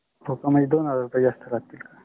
होका. म्हणजे दोन हजर जात लगतिल का?